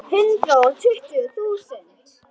Hundrað og tuttugu þúsund.